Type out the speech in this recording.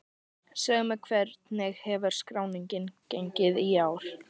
Segðu mér, hvernig hefur skráningin gengið í ár?